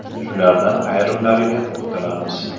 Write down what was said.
Shulardan ayrimlariga to‘xtalamiz.